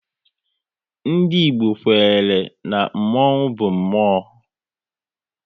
Ndị Igbo kwere na mmonwu bụ mmụọ